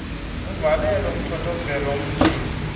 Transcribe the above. uvalelwe uthothoze emjiva